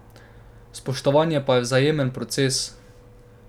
Spoštovanje pa je vzajemen proces.